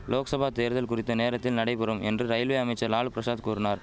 லோக்சபா தேர்தல் குறித்த நேரத்தில் நடைபெறும் என்று ரயில்வே அமைச்சர் லாலு பிரசாத் கூறினார்